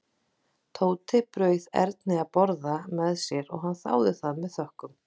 Tóti bauð Erni að borða með sér og hann þáði það með þökkum.